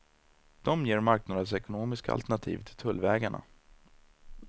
De ger marknadsekonomiska alternativ till tullvägarna.